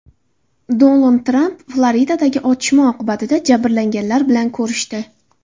Donald Tramp Floridadagi otishma oqibatida jabrlanganlar bilan ko‘rishdi.